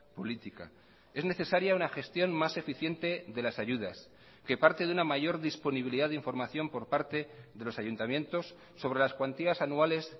política es necesaria una gestión más eficiente de las ayudas que parte de una mayor disponibilidad de información por parte de los ayuntamientos sobre las cuantías anuales